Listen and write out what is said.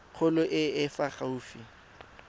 kgolo e e fa gaufi